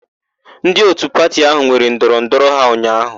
Ndị òtù pati áhụ̀ nwere ndọrọndọrọ ha ụnyaahụ.